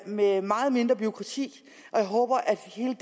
med meget mindre bureaukrati og jeg håber at hele